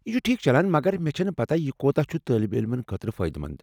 یہ چھ ٹھیٖک چلان، مگر مے٘ چھٕنہٕ پتاہ یہ كوتاہ چھٗ طٲلب علمن خٲطرٕ فٲئدٕ مند ۔